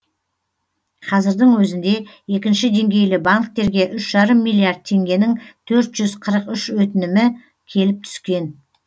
қазірдің өзінде екінші деңгейлі банктерге үш жарым миллиард теңгенің төрт жүз қырық үш өтінімі келіп түскен